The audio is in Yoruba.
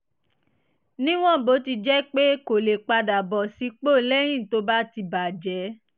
níwọ̀n bó ti jẹ́ pé kò lè padà bọ̀ sípò lẹ́yìn tó bá ti bà jẹ́